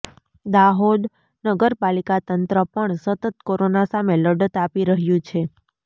દાહોદ નગર પાલિકા તંત્ર પણ સતત કોરોના સામે લડત આપી રહ્યું છે